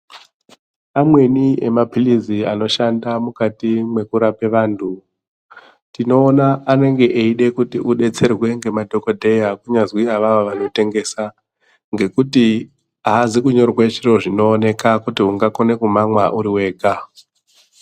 Amweni emapilizi anoshanda mukati mwekurape vanthu tinoona anenge eide kuti udetserwe ngemadhokodheya kunyazi awawo vanitengesa, ngekuti aazi kunyorwe zviro zvinooneka kuti ungakone kumamwa uri wega.